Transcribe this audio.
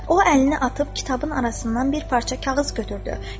O əlini atıb kitabın arasından bir parça kağız götürdü.